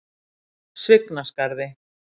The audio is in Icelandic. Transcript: Svignaskarði